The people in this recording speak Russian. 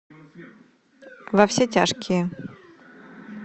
во все тяжкие